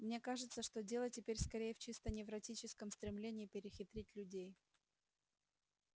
мне кажется что дело теперь скорее в чисто невротическом стремлении перехитрить людей